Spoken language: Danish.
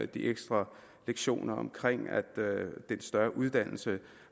de ekstra lektioner den større uddannelse